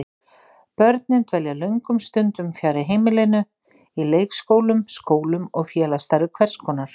Börnin dvelja löngum stundum fjarri heimilinu, í leikskólum, skólum og félagsstarfi hvers konar.